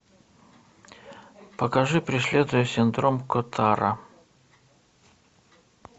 покажи преследуя синдром котара